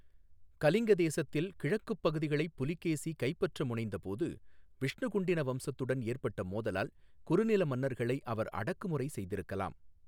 கலிங்க தேசத்தில் கிழக்குப் பகுதிகளைப் புலிகேசி கைப்பற்ற முனைந்தபோது விஷ்ணுகுண்டின வம்சத்துடன் ஏற்பட்ட மோதலால் குறுநில மன்னர்களை அவர் அடக்குமுறை செய்திருக்கலாம்.